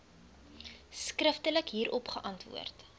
skriftelik hierop geantwoord